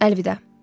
Əlvida.